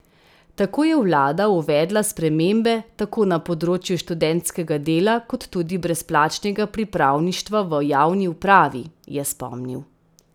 Tako je vlada uvedla spremembe tako na področju študentskega dela kot tudi brezplačnega pripravništva v javni upravi, je spomnil.